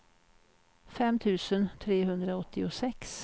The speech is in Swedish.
fem tusen trehundraåttiosex